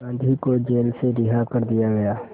गांधी को जेल से रिहा कर दिया गया